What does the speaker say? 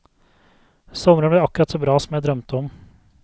Sommeren ble akkurat så bra som jeg drømte om.